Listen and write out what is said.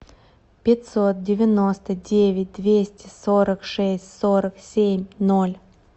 пятьсот девяносто девять двести сорок шесть сорок семь ноль